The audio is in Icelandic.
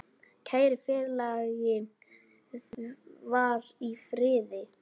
Kæri félagi, far í friði.